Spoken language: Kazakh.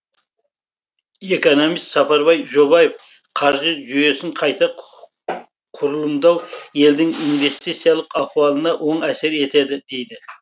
экономист сапарбай жобаев қаржы жүйесін қайта құрылымдау елдің инвестициялық ахуалына оң әсер етеді дейді